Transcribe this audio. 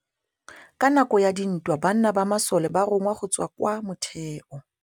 Ka nakô ya dintwa banna ba masole ba rongwa go tswa kwa mothêô.